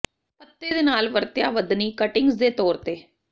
ਪੱਤੇ ਦੇ ਨਾਲ ਵਰਤਿਆ ਵਧਣੀ ਕਟਿੰਗਜ਼ ਦੇ ਤੌਰ ਤੇ